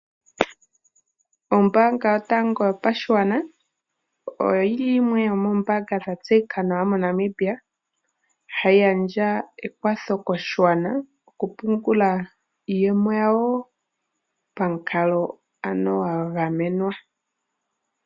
Ombaanga yotango yopashigwana oyo yi li yimwe yomoombaanga dha tseyika nawa moNamibia hayi gandja ekwatho koshigwana, oku pungula iiyemo yawo pamukalo ano gwa gamenwa.